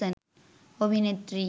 অভিনেত্রী